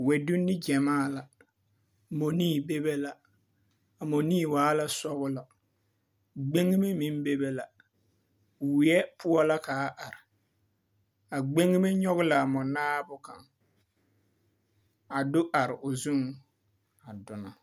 Wԑdonne gyamaa la, mͻnii bebe. A mͻnii waa la sͻgelͻ. Gbeŋime meŋ bebe la. Weԑ poͻ la ka a are. A gbeŋime nyͻge la a mͻnaabo kaŋ a do are o zuŋ a donͻ.